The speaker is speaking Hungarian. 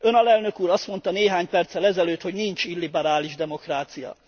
Ön, Alelnök Úr, azt mondta néhány perccel ezelőtt, hogy nincs illiberális demokrácia.